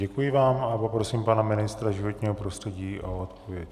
Děkuji vám a poprosím pana ministra životního prostředí o odpověď.